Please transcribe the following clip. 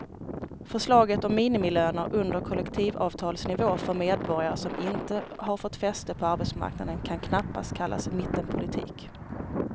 Förslaget om minimilöner under kollektivavtalsnivå för medborgare som inte har fått fäste på arbetsmarknaden kan knappast kallas mittenpolitik.